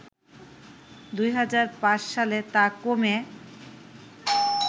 ২০০৫ সালে তা কমে